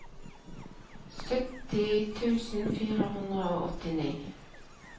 sytti tusen fire hundre og åttini